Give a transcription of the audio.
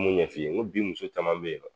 N m'o ɲɛ f'i ye ngo bi muso caman be yen dɛ